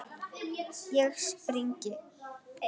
Ég spring.